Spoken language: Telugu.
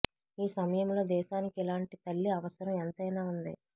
ఈ సమయంలో దేశానికి ఇలాంటి తల్లి అవసరం ఎంతైనా ఉంది